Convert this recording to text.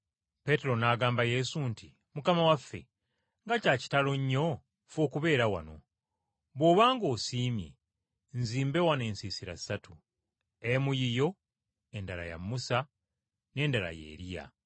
Peetero n’agamba Yesu nti, “Mukama waffe, nga kya kitalo nnyo ffe okubeera wano! Bw’oba ng’osiimye, nzimbe wano ensiisira ssatu, emu yiyo endala ya Musa n’endala ya Eriya.”